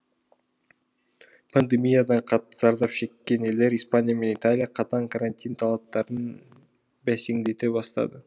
пандемиядан қатты зардап шеккен елдер испания мен италия қатаң карантин талаптарын бәсеңдете бастады